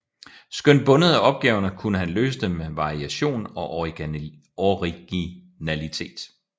Skønt bundet af opgaverne kunne han løse dem med variation og originalitet